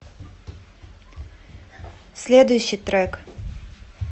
следующий трек